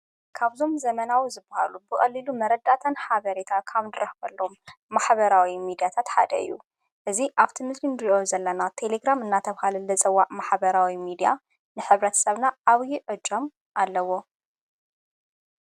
ካብዞም ዘመናዊ ዝበሃሉ ብቐሊሉ መረዳተን ኃበሬታ ካም ድረኅበሎም ማኅበራዊ ሚዲያት ትሓደ ዩ እዙ ኣብቲ ምስል ንድእዮ ዘለና ተሌግራም እናተብሃል ለጸዋዕ ማሓበራዊ ሚድያ ንኅብረት ሰብና ኣውዪ ዕጃም ኣለዎ።